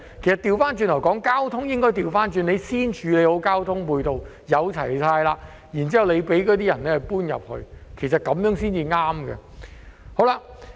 相反，政府應該先處理好交通配套，待設施齊全後，才讓市民遷到那裏，其實這樣做才對。